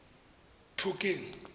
phokeng